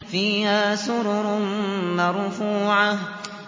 فِيهَا سُرُرٌ مَّرْفُوعَةٌ